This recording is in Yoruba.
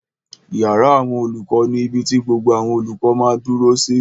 Ìyàrá àwọn olùkọ́ ni ibi ti gbogbo àwọn olùkọ́ máa dúró sí